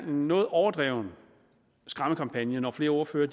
noget overdrevet skræmmekampagne når flere ordførere